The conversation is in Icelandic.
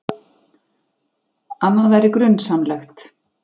Annað væri grunsamlegt.